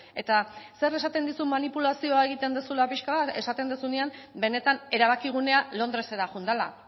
eta zer esaten dizu manipulazioa egiten duzula pixka bat esaten duzunean benetan erabakigunea londresera joan dela